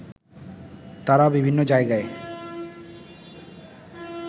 তারা বিভিন্ন জায়গায়